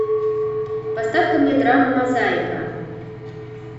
поставь ка мне драму мозаика